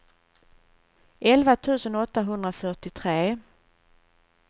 elva tusen åttahundrafyrtiotre